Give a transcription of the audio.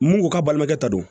Mun ko ka balimakɛ ta don